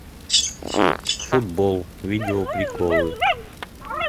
футбол видео приколы